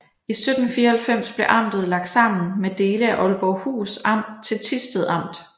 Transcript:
I 1794 blev amtet lagt sammen med dele af Aalborghus Amt til Thisted Amt